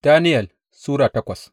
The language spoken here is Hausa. Daniyel Sura takwas